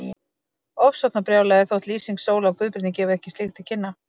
Ofsóknarbrjálæði, þótt lýsing Sólu á Guðbirni gefi ekki slíkt til kynna.